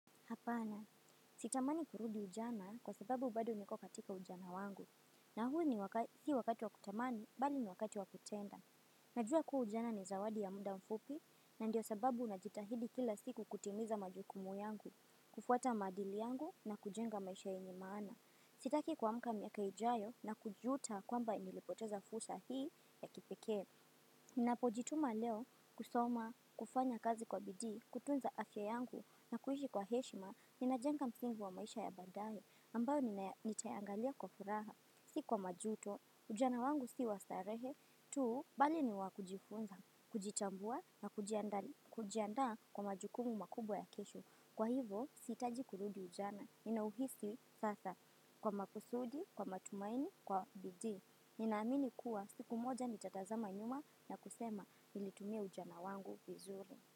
Hapana, sitamani kurudi ujana kwa sababu bado niko katika ujana wangu. Na huu ni wakati, si wakati wa kutamani, bali ni wakati wa kutenda. Najua kuwa ujana ni zawadi ya muda mfupi, na ndio sababu najitahidi kila siku kutimiza majukumu yangu, kufuata maadili yangu na kujenga maisha yenye maana. Sitaki kwamuka miaka ijayo na kujuta kwamba nilipoteza fursa hii ya kipekee. Ninapo jituma leo kusoma, kufanya kazi kwa bidii, kutunza afya yangu na kuishi kwa heshima ni na jenga msingi wa maisha ya baadaye ambayo nitayaangalia kwa furaha si kwa majuto, ujana wangu si wa starehe tu bali ni wa kijifunza, kujitambua na kujiandaa kwa majukumu makubwa ya kesho kwa hivo sihitaji kurudi ujana ninauhisi sasa kwa makusudi kwa matumaini kwa bidii. Ni naamini kuwa siku moja ni nitazama nyuma na kusema nilitumia ujana wangu vizuri.